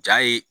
Ja ye